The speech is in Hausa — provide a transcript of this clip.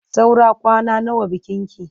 Saura kwana nawa bikinki?